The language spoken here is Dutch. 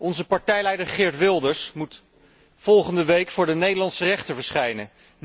Onze partijleider Geert Wilders moet volgende week voor de Nederlandse rechter verschijnen.